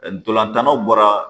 Ntolan tan naw bɔra